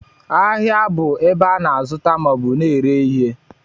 Ahịa bụ ebe a na-azụta maọbụ na-ere ihe